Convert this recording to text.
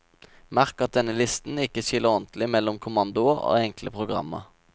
Merk at denne listen ikke skiller ordentlig mellom kommandoer og enkle programmer.